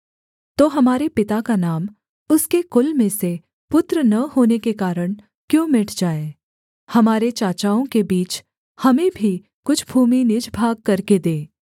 तो हमारे पिता का नाम उसके कुल में से पुत्र न होने के कारण क्यों मिट जाए हमारे चाचाओं के बीच हमें भी कुछ भूमि निज भाग करके दे